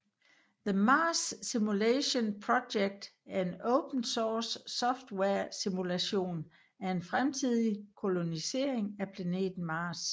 The Mars Simulation Project er en open source software simulation af en fremtidig kolonisering af planeten Mars